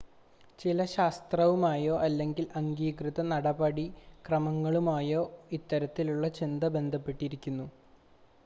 ചില ശാസ്ത്രവുമായോ അല്ലെങ്കിൽ അംഗീകൃത നടപടിക്രമങ്ങളുമായോ ഇത്തരത്തിലുള്ള ചിന്ത ബന്ധപ്പെട്ടിരിക്കുന്നു